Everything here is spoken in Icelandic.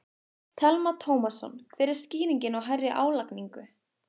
Telma Tómasson: Hver er skýringin á hærri álagningu?